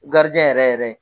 yɛrɛ yɛrɛ